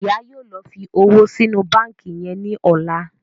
Ìyá yóò ló fí òwò sí inú bánkì yén ní ọlá.